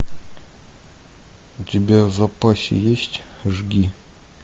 у тебя в запасе есть жги